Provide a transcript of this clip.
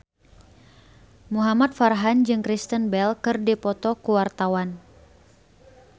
Muhamad Farhan jeung Kristen Bell keur dipoto ku wartawan